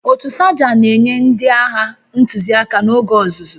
Otu Sajan na-enye ndị agha ntụziaka n'oge ọzụzụ